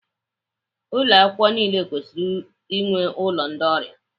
Ụlọ akwukwo niile kwesịrị inwe ụlọ ndị ọrịa.